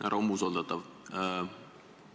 Härra umbusaldatav!